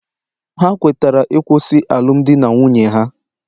Ha kwetara ịkwụsị alụmdi na nwunye ha